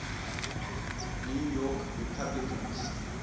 new york republicans